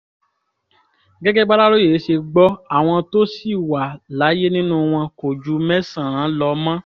gẹ́gẹ́ bàlàròyé ṣe gbọ́ àwọn tó ṣì wà láyé nínú wọn kò ju mẹ́sàn-án lọ mọ́